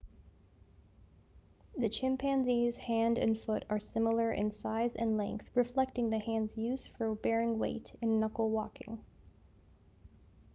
the chimpanzee's hand and foot are similar in size and length reflecting the hand's use for bearing weight in knuckle walking